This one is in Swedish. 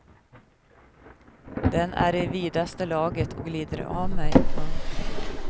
Den är i vidaste laget och glider av mig. punkt